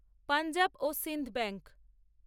পঞ্জাব ও সিন্ধ ব্যাঙ্ক